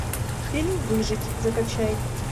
фильм выжить закачай